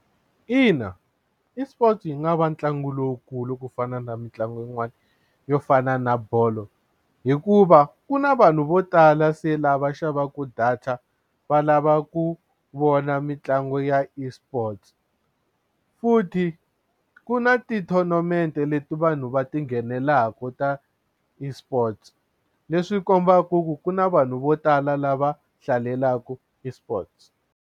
Ina eSports yi nga va ntlangu lowukulu ku fana na mitlangu yin'wani yo fana na bolo hikuva ku na vanhu vo tala se lava xavaka data va lava ku vona mitlangu ya eSports futhi ku na ti-tournament leti vanhu va ti nghenelelaka ta esports leswi kombaka ku na vanhu vo tala lava hlalelaka eSports.